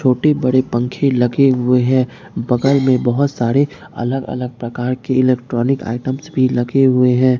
छोटे बड़े पंखे लगे हुए हैं बगल में बहोत सारे अलग अलग प्रकार के इलेक्ट्रॉनिक आइटम्स भी लगे हुए हैं।